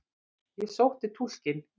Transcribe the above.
Ég sótti túlkinn.